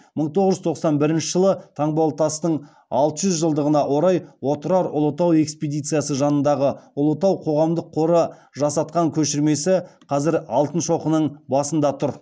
мың тоғыз жүз тоқсан бірінші жылы таңбалытастың алты жүз жылдығына орай отырар ұлытау экспедициясы жанындағы ұлытау қоғамдық қоры жасатқан көшірмесі қазір алтын шоқының басында тұр